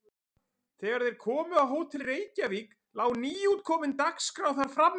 Þegar þeir komu á Hótel Reykjavík lá nýútkomin Dagskrá þar frammi.